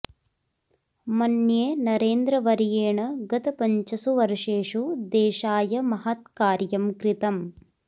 मन्ये नरेन्द्रवर्येण गत पञ्चसु वर्षेषु देशाय महत् कार्यं कृतम्